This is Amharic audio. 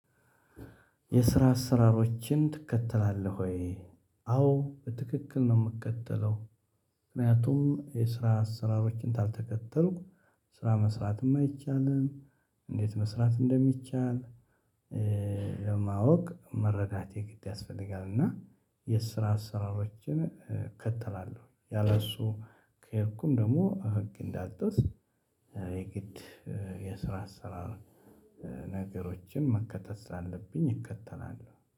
የስራ አሰራሮችን ትከተላለህ ወይ? አዎ በትክክል ነው የምከተለው ምክንያቱም የስራ አሰራሮችን ካልተከተልኩ ስራ መስራትም አይቻልም እንዴት መስራት እንደሚቻል ለማወቅ መረዳት የግድ ያስፈልጋል እና የስራ አሰራሮችን እከተላለሁ ያለእሱ ከሄድኩም ደግሞ ህግ እንዳልጥስ የግድ የስራ አሰራር ነገሮችን መከተል ስላለብኝ እከተላለሁ